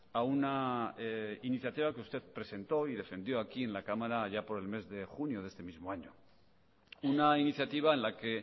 a una iniciativa que usted presentó y defendió aquí en la cámara allá por el mes de junio de este mismo año una iniciativa en la que